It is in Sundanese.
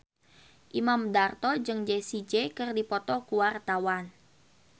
Imam Darto jeung Jessie J keur dipoto ku wartawan